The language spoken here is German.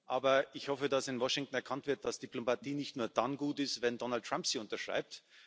Aber ich hoffe, dass in Washington erkannt wird, dass Diplomatie nicht nur dann gut ist, wenn Donald Trump sie unterschreibt.